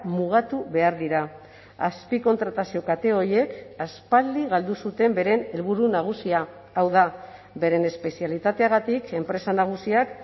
mugatu behar dira azpikontratazio kate horiek aspaldi galdu zuten beren helburu nagusia hau da beren espezialitateagatik enpresa nagusiak